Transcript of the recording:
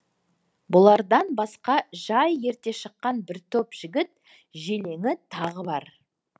бұлардан басқа жай ерте шыққан бір топ жігіт желеңі тағы бар